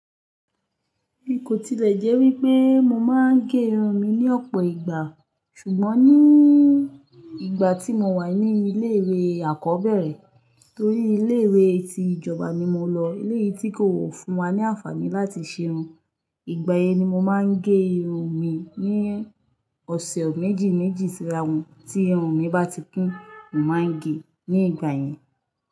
Bi kò tilẹ̀ jẹ́ wípé mo máa ń gé irun mi ní ọ̀pọ̀ ìgbà, ṣùgbọ́n ní ìgbà tí mo wà ní ilé ìwé àkọ́bẹ̀rẹ̀ torí ilé ìwé tí ìjọba ni mo lọ, ilé yìí tí kò fún wa ní àǹfààní láti ṣe irun. Ìgbà yẹn ni mo máa ń gé irun mi. Ní ọ̀sẹ̀ méjì méjì tí irun mi bá ti kún, mo máa ń gé e ní ìgbà yẹn.